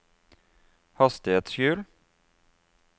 hastighetshjul